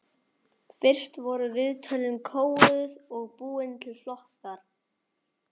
Fyrst voru viðtölin kóðuð og búnir til flokkar.